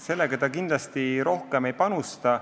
Sellega ta kindlasti rohkem ei panusta.